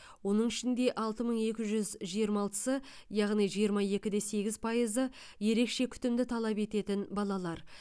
оның ішінде алты мың екі жүз жиырма алтысы яғни жиырма екі де сегіз пайызы ерекше күтімді талап ететін балалар